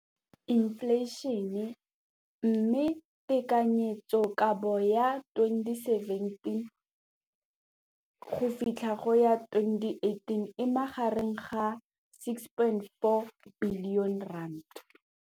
Infleišene, mme tekanyetsokabo ya 2017-2018 e magareng ga R6.4 bilione.